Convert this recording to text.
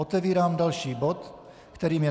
Otevírám další bod, kterým je